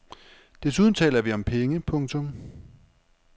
Desuden taler vi om penge. punktum